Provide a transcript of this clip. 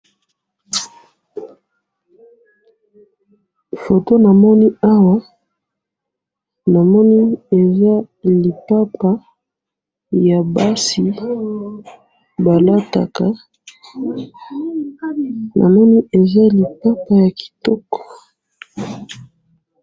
photo namoni awa namoni eza lipapa ya basi balataka omoni ez lipapa ya kitoko